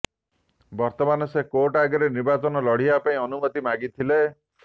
ବର୍ତ୍ତମାନ ସେ କୋର୍ଟ ଆଗରେ ନିର୍ବାଚନ ଲଢିବା ପାଇଁ ଅନୁମତି ମାଗି ଥିଲେ